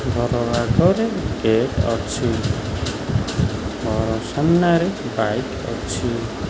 ଝରଣା ଘରେ କେକ୍ ଅଛି ଘର ସାମ୍ନାରେ ବାଇକ୍ ଅଛି।